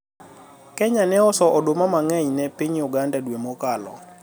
Kenya ne ouso oduma mang'eny ne piny Uganda dwe mokalo